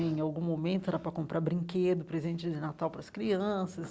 Em algum momento, era para comprar brinquedo, presente de Natal para as crianças.